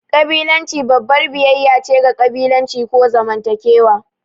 ƙabilanci babbar biyayya ce ga ƙabilanci ko zamantakewa.